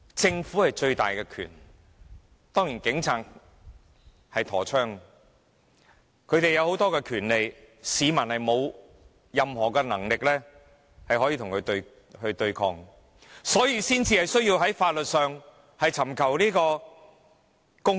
政府擁有最大的權力，警察有佩槍，他們有許多權力，市民沒有任何能力與他們對抗，因此才需要在法律上尋求公義。